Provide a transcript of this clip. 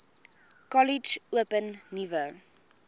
kollege open nuwe